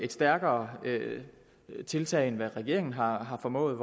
stærkere tiltag end hvad regeringen har har formået